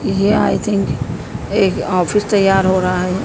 ये I think एक office तैयार हो रहा--